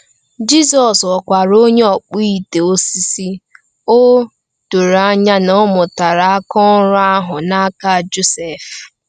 Jizọs ghọkwara onye ọkpụ ite osisi, o doro anya na ọ mụtara aka ọrụ ahụ n’aka Josef.